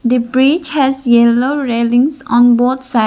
the bridge has yellow railings on both side.